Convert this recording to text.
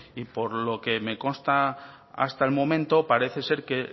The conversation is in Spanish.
y por lo que me consta hasta el momento parece ser que